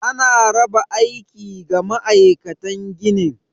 Ana raba aiki ga ma'aikatan ginin.